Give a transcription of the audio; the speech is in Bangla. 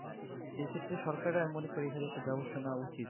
এক্ষেত্রে সরকারের মনে করি ব্যবস্থা নেওয়া উচিৎ